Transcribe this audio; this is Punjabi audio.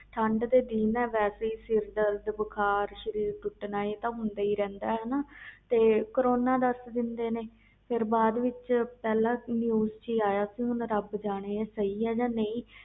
ਠੰਡ ਵਿਚ ਸਰੀਰ ਦਰਦ ਜੁਕਮ ਬੁਖ਼ਾਰ ਹੁੰਦਾ ਰਹਿੰਦਾ ਤੇ ਕਰੋਨਾ ਦਸ ਦਿਂਦੇ ਆ ਫਰ ਸੁਣਨ ਚ ਆਯਾ ਰਬ ਜਾਣੇ ਹੁਣ ਸਹੀ ਜਾ ਗਲਤ